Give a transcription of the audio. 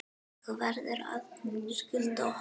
Þú verður að skutla okkur.